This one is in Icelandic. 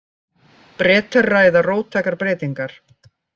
Bretar ræða róttækar breytingar